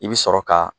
I bi sɔrɔ ka